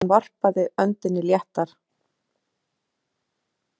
Hún varpaði öndinni léttar.